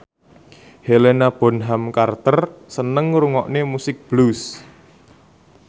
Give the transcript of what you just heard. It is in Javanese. Helena Bonham Carter seneng ngrungokne musik blues